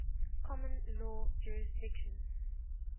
common law jurisdictions